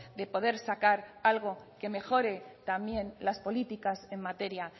de poder sacar algo que mejore también las políticas en materia